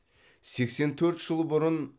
сексен төрт жыл бұрын